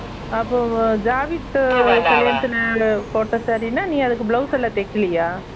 அப்போ ஜாவித் கல்யாணத்துல போட்ட saree னா நீ அதுக்கு blouse எல்லாம் தெக்கலையா